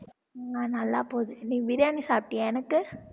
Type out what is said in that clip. உம் நல்லா போகுது நீ பிரியாணி சாப்பிட்டியா எனக்கு